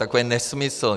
Takový nesmysl.